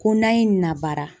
Ko n'a ye nin na baara.